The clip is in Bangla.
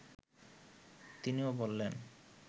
তিনিও বললেন